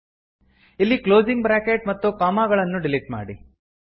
ಇಲ್ಲಿ closing bracket ಮತ್ತು ಗಳನ್ನು ಡಿಲೀಟ್ ಮಾಡಿ